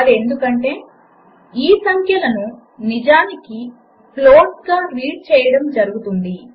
ఇది ఎందుకంటే ఈ సంఖ్యలను నిజానికి floatsగా రీడ్ చేయడం జరుగుతుంది